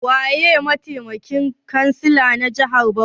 Waye mataimakin kansila na jami'ar jihar Bauchi?